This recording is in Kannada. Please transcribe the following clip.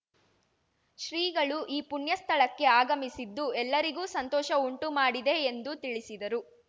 ಶ್ರೀಗಳು ಈ ಪುಣ್ಯ ಸ್ಥಳಕ್ಕೆ ಆಗಮಿಸಿದ್ದು ಎಲ್ಲರಿಗೂ ಸಂತೋಷ ಉಂಟುಮಾಡಿದೆ ಎಂದು ತಿಳಿಸಿದರು